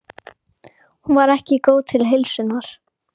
Hún var ekki góð til heilsunnar.